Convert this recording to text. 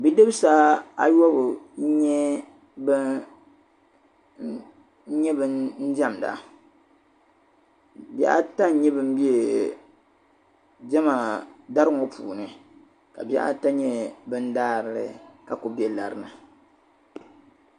Bi' dibisi ayɔbu n-nyɛ ban diɛmda bihi ata n-nyɛ ban be diɛma dari ŋɔ puuni ka bihi ata nyɛ daarili ka kuli be lari ni.